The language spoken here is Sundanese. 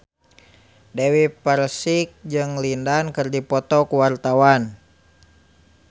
Dewi Persik jeung Lin Dan keur dipoto ku wartawan